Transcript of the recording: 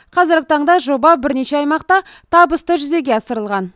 қазіргі таңда жоба бірнеше аймақта табысты жүзеге асырылған